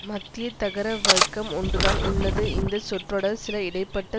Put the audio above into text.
மத்தியதர வர்க்கம் ஒன்றுதான் உள்ளது இந்த சொற்றொடர் சில இடை பட்ட